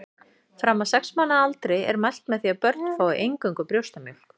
Fram að sex mánaða aldri er mælt með því að börn fái eingöngu brjóstamjólk.